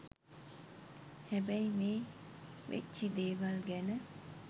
හැබැයි මේ වෙච්චි දේවල් ගැන